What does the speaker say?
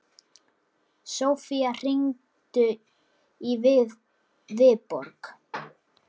Sofía, hringdu í Viborg.